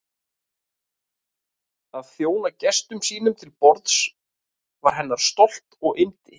Að þjóna gestum sínum til borðs var hennar stolt og yndi.